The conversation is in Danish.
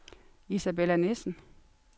Isabella Nissen